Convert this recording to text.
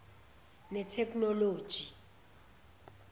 netheknoloji